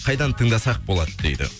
қайдан тыңдасақ болады дейді